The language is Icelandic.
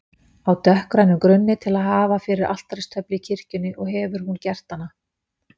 á dökkgrænum grunni til að hafa fyrir altaristöflu í kirkjunni og hefur hún gert hana.